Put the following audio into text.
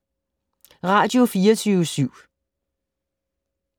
Radio24syv